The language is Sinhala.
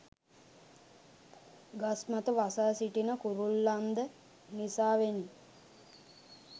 ගස්මත වසා සිටින කුරුල්ලන්ද නිසාවෙනි